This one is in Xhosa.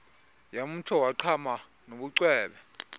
yamtsho wagqama nobucwebe